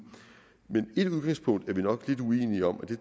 men et udgangspunkt er vi nok lidt uenige om og det